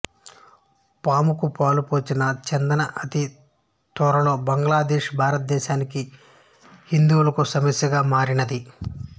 పాముకు పాలు పోసిన చందాన అతి త్వరలో బంగ్లాదేశ్ భారతదేశానికి హిందువులకు సమస్యగా మారినది